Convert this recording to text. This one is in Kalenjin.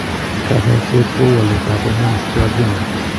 Kanyaiset kou walet ab hormones che adrenal